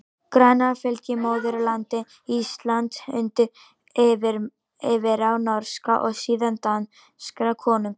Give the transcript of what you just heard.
Grænland fylgdi móðurlandinu Íslandi undir yfirráð norskra, og síðan danskra konunga.